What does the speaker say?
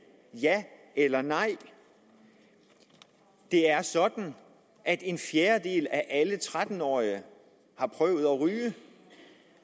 ja eller nej det er sådan at en fjerdedel af alle tretten årige har prøvet at ryge